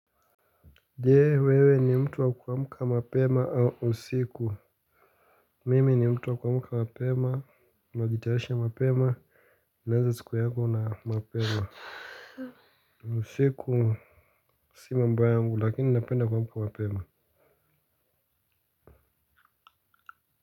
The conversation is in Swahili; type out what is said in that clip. Je wewe ni mtu wa kuamka mapema au usiku. Mimi ni mtu wa kuamka mapema najitayarishi mapema naanza siku yangu na mapema usiku si mambo yangu lakini napenda kuamka mapema.